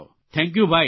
thank you ભાઇ